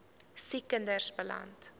siek kinders beland